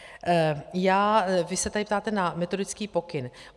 Vy se tady ptáte na metodický pokyn.